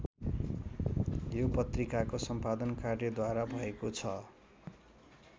यो पत्रिकाको सम्पादन कार्य द्वारा भएको छ।